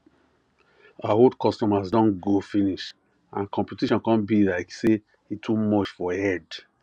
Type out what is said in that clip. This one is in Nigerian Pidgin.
her old customers don go finish and competition come be like say e too much for head